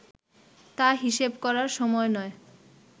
তা হিসেব করার সময় নয়